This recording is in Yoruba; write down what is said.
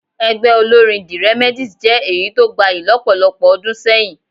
Ẹgbẹ́ olórín the Remedies jẹ́ èyí tó gbayì lọ́pọ̀lọpọ̀ ọdún sẹ́yìn